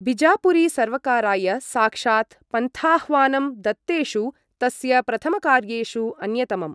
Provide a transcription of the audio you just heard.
बिजापुरी सर्वकाराय साक्षात् पन्थाह्वानं दत्तेषु तस्य प्रथमकार्येषु अन्यतमम्।